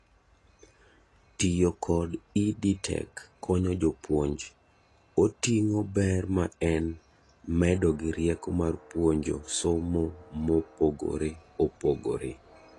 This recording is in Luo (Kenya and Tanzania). tiyo kod EdTech konyo jopuonj oting'o ber ma en medo gi rieko mar puonjo somo mopogore opogore